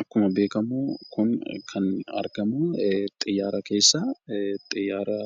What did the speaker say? Akkuma beekamu kun kan argamu xiyyaara keessa. Xiyyaara